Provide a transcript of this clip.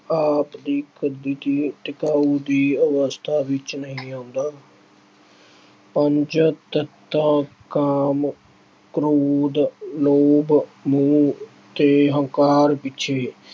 ਦੀ ਟਿਕਾਊ ਦੀ ਅਵਸਥਾ ਵਿੱਚ ਨਹੀਂ ਆਉਂਦਾ। ਪੰਜ ਤੱਤਾਂ ਕਾਮ, ਕ੍ਰੋਧ, ਲੋਭ, ਮੋਹ ਤੇ ਹੰਕਾਰ ਪਿੱਛੇ